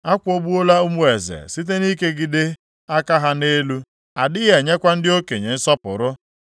Akwụgbuola ụmụ eze site nʼikegide aka ha nʼelu; a dịghị enyekwa ndị okenye nsọpụrụ.